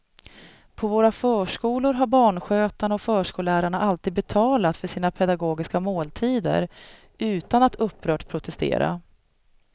På våra förskolor har barnskötarna och förskollärarna alltid betalat för sina pedagogiska måltider utan att upprört protestera.